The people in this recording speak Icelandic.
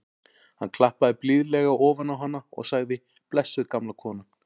Hann klappaði blíðlega ofan á hana og sagði: blessuð gamla konan.